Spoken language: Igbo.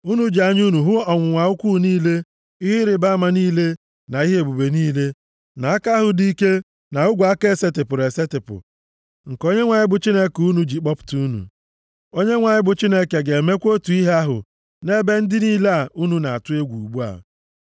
Unu ji anya unu hụ ọnwụnwa ukwuu niile, ihe ịrịbama niile na ihe ebube niile, nʼaka ahụ dị ike na ogwe aka esetipụrụ esetipụ, nke Onyenwe anyị bụ Chineke unu ji kpọpụta unu. Onyenwe anyị bụ Chineke ga-emekwa otu ihe ahụ nʼebe ndị niile a unu na-atụ egwu ugbu a.